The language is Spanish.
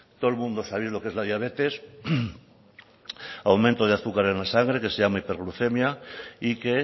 todo el mundo sabéis lo que es la diabetes aumento de azúcar en la sangre que se llama hiperglucemia y que